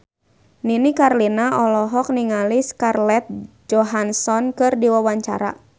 Nini Carlina olohok ningali Scarlett Johansson keur diwawancara